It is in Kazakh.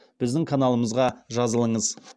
біздің каналымызға жазылыңыз